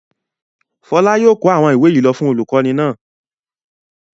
Fọlá yóò kó àwọn ìwé yìí lọ fún olùkọ́ní náà.